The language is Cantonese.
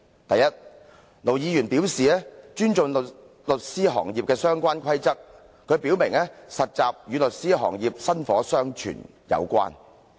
第一，盧議員表示尊重律師行業的相關規則，並說實習律師與律師行業薪火相傳有關。